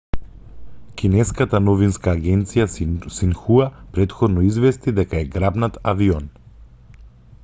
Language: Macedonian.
кинеската новинска агенција синхуа претходно извести дека е грабнат авион